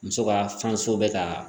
Muso ka bɛ ka